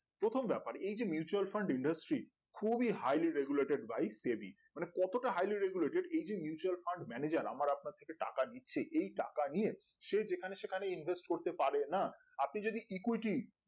প্রথম ব্যাপার এই যে Mutual Fund খুবই harely regulated by study মানে কতটা highly regulated এই যে mutual Fund manager আমার আপনার কাছ থেকে টাকা নিচ্ছে এই টাকা নিয়ে সে যেখানে সেখানে invest করতে পারেনা আপনি যদি equity